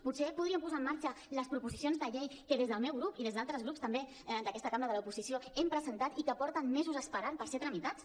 potser podrien posar en marxa les proposicions de llei que des del meu grup i des d’altres grups també d’aquesta cambra de l’oposició hem presentat i que porten mesos esperant per ser tramitats